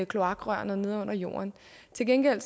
kloakrørene nede under jorden til gengæld